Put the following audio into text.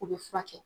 U bɛ furakɛ